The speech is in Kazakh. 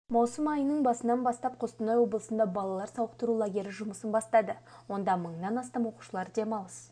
маусым айының басынан бастап қостанай облысында балалар сауықтыру лагері жұмысын бастады онда мыңнан астам оқушылар демалыс